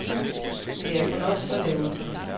Det er kun os, der laver den.